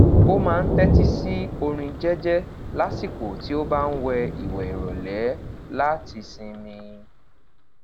o maa n tẹti si orin jẹjẹ lasiko ti o ba n wẹ iwẹ irọle lati sinmi